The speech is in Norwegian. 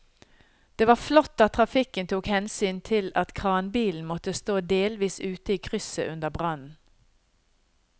Det var flott at trafikken tok hensyn til at kranbilen måtte stå delvis ute i krysset under brannen.